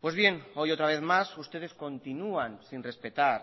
pues bien hoy otra vez más ustedes continúan sin respetar